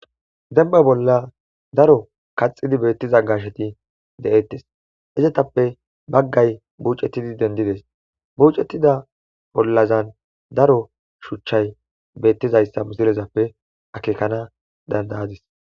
Dembba bolla daro kaxxidii beettiza gaashsheti de'ettes izetappe baggay buuccettidi denddides buuccettida bollazan daro shuuchchay beettizayssa misilezappe akkekana danddayadis